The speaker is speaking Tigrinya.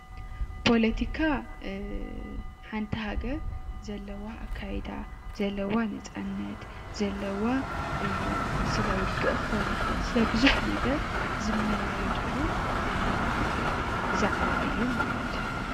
ፖለቲካ ሓንቲ ሃገር ዘለዋ ኣካያይዳ፣ ዘለዋ ነፃነት ፣ ዘለዋ ስለ ውግእ ክኮን ይከእል ስለ ቡዝሕ ነገር ዝመያየጥሉ ዛዕባ እዩ ማለት እዩ።